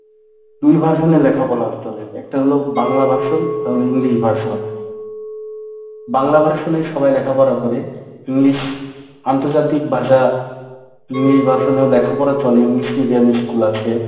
দুই version এ লেখাপলা চলে একটা হল বাংলা version একটা হল ইংরিজী version। বাংলা version এ সবাই লেখাপড়া করে english আন্তর্জাতিক ভাষা english version এও লেখাপড়া চলে english medium school আছে।